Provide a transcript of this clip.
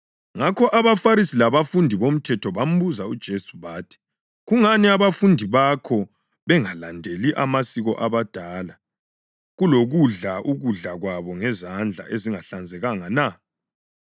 Ngakho abaFarisi labafundisi bomthetho bambuza uJesu bathi, “Kungani abafundi bakho bengalandeli amasiko abadala kulokudla ukudla kwabo ngezandla ‘ezingahlanzekanga na’?”